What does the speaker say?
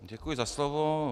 Děkuji za slovo.